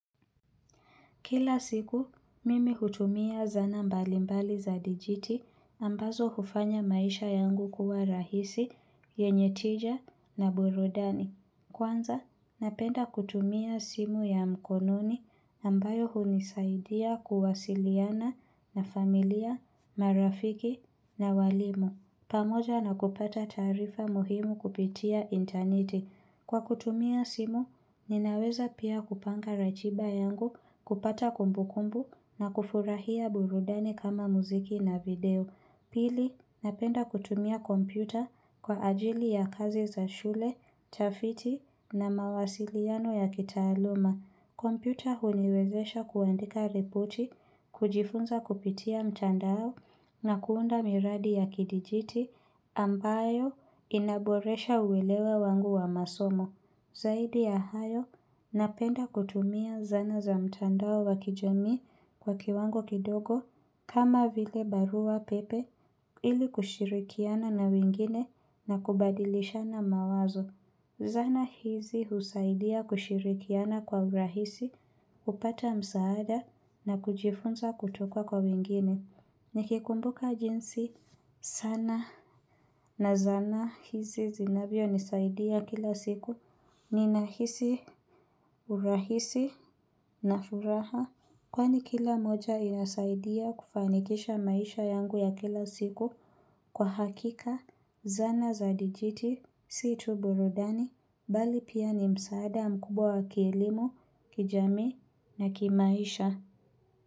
Kila siku, mimi hutumia zana mbalimbali za dijiti ambazo hufanya maisha yangu kuwa rahisi, yenye tija na burudani. Kwanza, napenda kutumia simu ya mkononi ambayo hunisaidia kuwasiliana na familia, marafiki na walimu. Pamoja na kupata taarifa muhimu kupitia interneti. Kwa kutumia simu, ninaweza pia kupanga ratiba yangu kupata kumbukumbu na kufurahia burudani kama muziki na video. Pili, napenda kutumia kompyuta kwa ajili ya kazi za shule, utafiti na mawasiliano ya kitaaluma. Kompyuta huniwezesha kuandika ripoti, kujifunza kupitia mtandao na kuunda miradi ya kidijiti ambayo inaboresha uwelewa wangu wa masomo. Zaidi ya hayo, napenda kutumia zana za mtandao wa kijamii kwa kiwango kidogo kama vile barua pepe ili kushirikiana na wengine na kubadilishana mawazo. Zana hizi husaidia kushirikiana kwa urahisi, kupata msaada na kujifunza kutoka kwa wengine. Nikikumbuka jinsi sana na zana hizi zinavyo nisaidia kila siku. Ninahisi urahisi na furaha kwani kila moja yasaidia kufanikisha maisha yangu ya kila siku. Kwa hakika, zana za dijiti, si tu burudani, mbali pia ni msaada mkubwa wa kielimu, kijami na kimaisha.